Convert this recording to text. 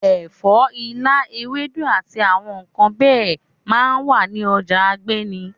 Ẹ̀fọ́, ilá, ewédú àti àwọn nǹkan bẹ́ẹ̀ máa ń wà ní ọjà Agbeni.